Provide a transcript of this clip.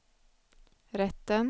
rätten